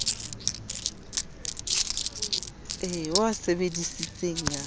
ao o a sebesisitseng a